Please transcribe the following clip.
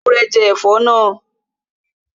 Ewúrẹ́ jẹ ẹ̀fọ́ náà